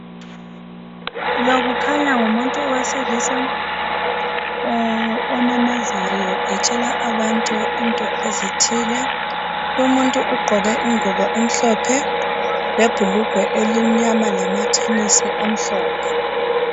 Lo kukhanya ngumuntu wesilisa omemezayo etshela abantu into ezithile. Lomuntu ugqoke ingubo emhlophe lebhulugwe elimnyama lamathenisi amhlophe.